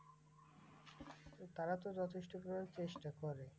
তারা তো যথেষ্ট করার চেষ্টা করে।